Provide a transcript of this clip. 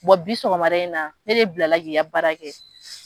bi sɔgɔmada in na ne de bilala k'i ka baara kɛ